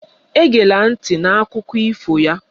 Egela ntị na Akụkọ ifo ya!